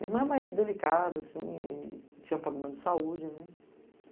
Minha irmã é mais delicada, assim, e tinha problema de saúde, né?